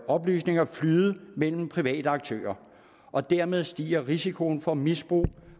oplysninger flyde mellem private aktører og dermed stiger risikoen for misbrug